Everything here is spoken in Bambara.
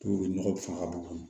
nɔgɔ fanga bon kɔnɔ